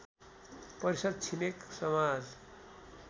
परिषद् छिमेक समाज